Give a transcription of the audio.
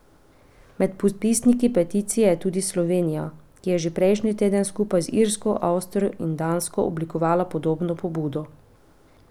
Med podpisniki peticije je tudi Slovenija, ki je že prejšnji teden skupaj z Irsko, Avstrijo in Dansko oblikovala podobno pobudo.